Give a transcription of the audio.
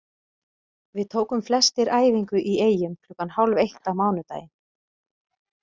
Við tókum flestir æfingu í Eyjum klukkan hálf eitt á mánudaginn.